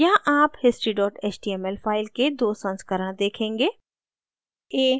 यहाँ आप history html file के दो संस्करण देखेंगे